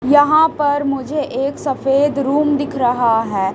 यहाँ पर मुझे एक सफेद रूम दिख रहा हैं।